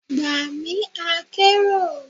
Gba mi akero!